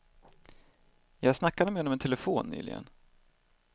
Jag snackade med honom i telefon nyligen.